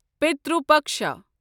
پترو پکشا